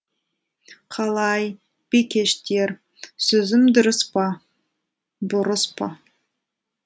қалай бикештер сөзім дұрыс па бұрыс па